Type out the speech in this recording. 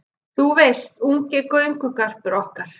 Þú veist, ungi göngugarpurinn okkar